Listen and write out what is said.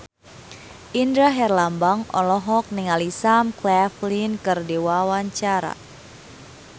Indra Herlambang olohok ningali Sam Claflin keur diwawancara